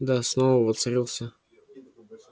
да снова воцарился